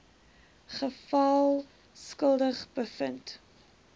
geval skuldig bevind